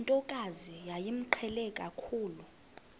ntokazi yayimqhele kakhulu